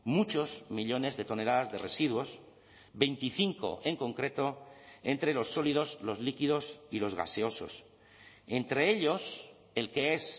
muchos millónes de toneladas de residuos veinticinco en concreto entre los sólidos los líquidos y los gaseosos entre ellos el que es